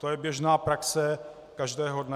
To je běžná praxe každého dne.